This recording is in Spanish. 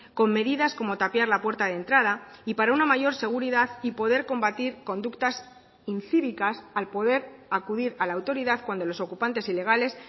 con medidas como tapiar la puerta de entrada y para una mayor seguridad y poder combatir conductas incívicas al poder acudir a la autoridad cuando los ocupantes ilegales